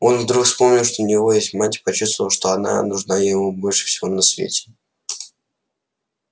он вдруг вспомнил что у него есть мать и почувствовал что она нужна ему больше всего на свете